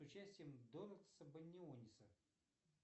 с участием донатаса баниониса